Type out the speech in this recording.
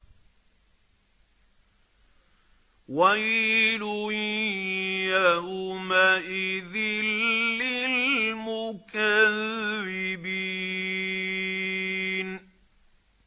وَيْلٌ يَوْمَئِذٍ لِّلْمُكَذِّبِينَ